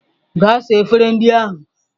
Gaa saa efere ndị ahụ!